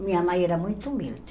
Minha mãe era muito humilde.